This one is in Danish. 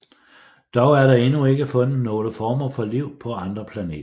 Dog er der endnu ikke fundet nogle former for liv på andre planeter